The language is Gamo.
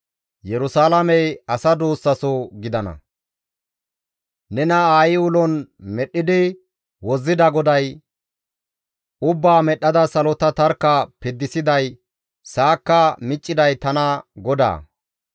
Nena aayi ulon medhdhidi wozzida GODAY, «Ubbaa medhdhada salota tarkka piddisiday, sa7akka micciday tana GODAA.